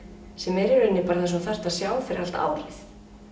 sem er í rauninni bara það sem þú færð að sjá fyrir allt árið